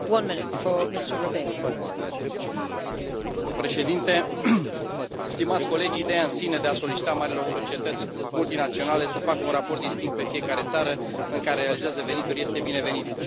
Domnule președinte, stimați colegi, ideea în sine de a solicita marilor societăți multinaționale să facă un raport distinct pe fiecare țară în care realizează venituri este binevenită.